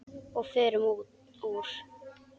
Og förum úr.